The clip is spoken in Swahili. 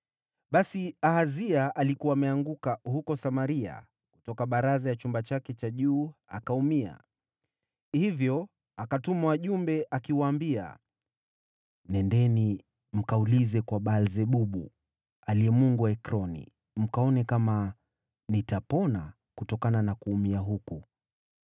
Basi Ahazia alikuwa ameanguka huko Samaria kutoka baraza ya chumba chake cha juu, akaumia. Hivyo akatuma wajumbe, akiwaambia, “Nendeni mkaulize kwa Baal-Zebubu, mungu wa Ekroni, mkaone kama nitapona kutokana na kuumia huku.”